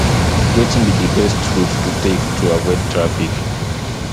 wetin be di best route to take to avoid traffic